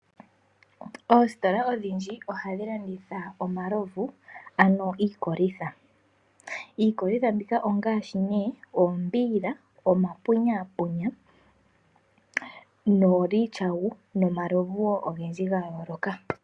Oositola odhindji ohadhilanditha omalovu ano iikolitha. Iikolitha mbika ongaashi ne, oombiila, omapunyapunya, noolityawu nomalovu wo ogendji gayooloka.